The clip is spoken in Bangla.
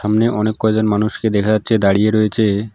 সামনে অনেক কয়জন মানুষকে দেখা যাচ্ছে দাঁড়িয়ে রয়েছে।